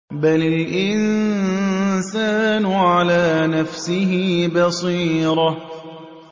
بَلِ الْإِنسَانُ عَلَىٰ نَفْسِهِ بَصِيرَةٌ